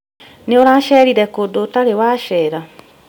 Nĩũracerire kũndũ ũtarĩ wacera?